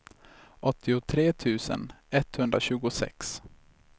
åttiotre tusen etthundratjugosex